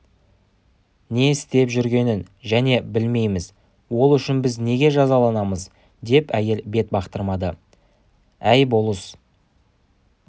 не істеп жүргенін және білмейміз ол үшін біз неге жазаланамыз деп әйел бет бақтырмады әй болыс